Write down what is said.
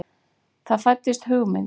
Það fæddist hugmynd.